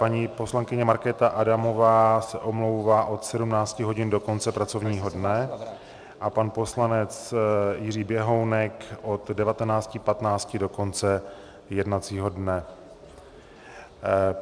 Paní poslankyně Markéta Adamová se omlouvá od 17.00 hodin do konce pracovního dne a pan poslanec Jiří Běhounek od 19.15 do konce jednacího dne.